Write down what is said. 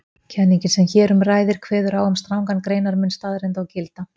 Kenningin sem hér um ræðir kveður á um strangan greinarmun staðreynda og gilda.